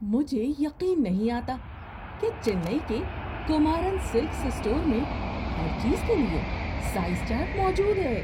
مجھے یقین نہیں آتا کہ چنئی کے کمارن سلکس اسٹور میں ہر چیز کے لیے سائز چارٹ موجود ہے۔